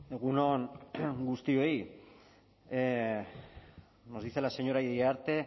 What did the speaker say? egun on guztioi nos dice la señora iriarte